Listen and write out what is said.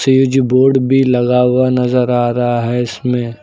Switchboard भी लगा हुआ नजर आ रहा है इसमें।